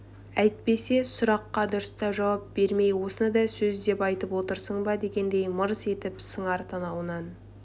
әйтпесе сұраққа дұрыстап жауап бермей осыны да сөз деп айтып отырсың ба дегендей мырс етіп сыңар танауынан